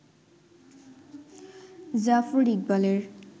জাফর ইকবালের